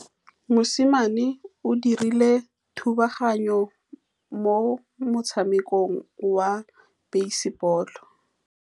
Mosimane o dirile thubaganyô mo motshamekong wa basebôlô.